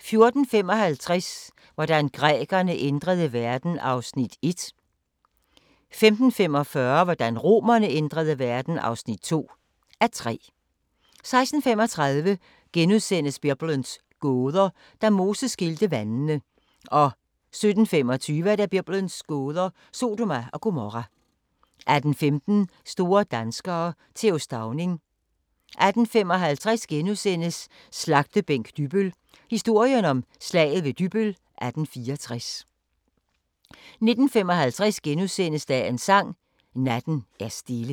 14:55: Hvordan grækerne ændrede verden (1:3) 15:45: Hvordan romerne ændrede verden (2:3) 16:35: Biblens gåder – Da Moses skilte vandene * 17:25: Biblens gåder – Sodoma og Gomorra 18:15: Store danskere - Th. Stauning 18:55: Slagtebænk Dybbøl – historien om Slaget ved Dybbøl 1864 * 19:55: Dagens Sang: Natten er stille *